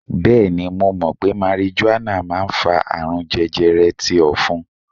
Bẹẹni, mo mọ̀ pé marijuana máa ń fa àrùn jẹjẹrẹ ti ofun.